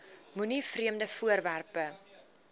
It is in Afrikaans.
moenie vreemde voorwerpe